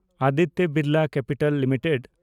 Aditya Birla capital limited